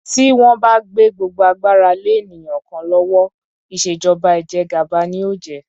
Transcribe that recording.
Tí wón bá gbé gbogbo agbára lé ènìyàn kan lówó, ìṣèjọba ìjẹgàba ni ó jẹ́.